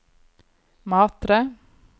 Matre